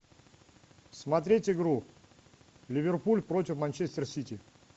смотреть игру ливерпуль против манчестер сити